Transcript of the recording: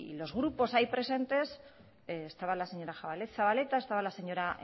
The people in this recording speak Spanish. los grupos ahí presentes estaba la señora zabaleta estaba la señora